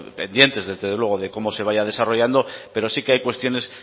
pendientes desde luego de cómo se vaya desarrollando pero sí que hay cuestiones